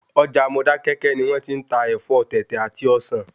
Ọjà Modákéké ni wón ti n ta Ẹ̀fọ́ Tètè àti Ọsàn